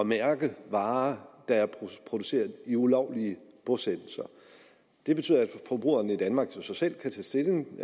mærke varer der er produceret i ulovlige bosættelser det betyder at forbrugerne i danmark så selv kan tage stilling